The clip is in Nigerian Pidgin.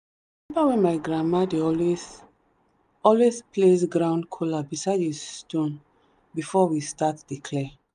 remember when my grandma dey always always place ground kola beside im stone before we start dey clear.